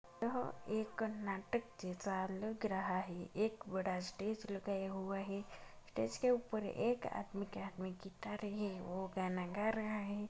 यह एक नाटक जैसा लग रहा है एक बड़ा स्टेज लगाया हुआ है। स्टेज के ऊपर एक आदमी के हाथ मे गिटार है वो गाना गा रहा है।